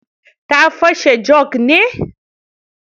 Ta fashe jog ne?